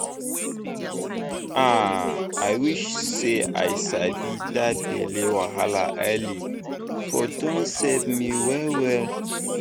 ah i wish say i sabi that belly wahala early for don save me well well